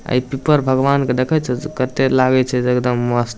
आ ई पीपर भगवान के देखई छी से कते लागए छे एकदम मस्त --